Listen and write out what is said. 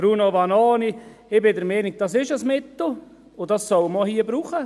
Bruno Vanoni, ich bin der Ansicht, dies sei ein Mittel und man solle es hier auch brauchen.